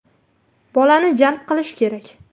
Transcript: Bolani jalb qilish kerak.